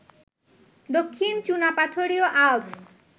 দক্ষিণ চুনাপাথরীয় আল্পস